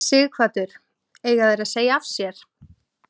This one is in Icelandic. Sighvatur: Eiga þeir að segja af sér?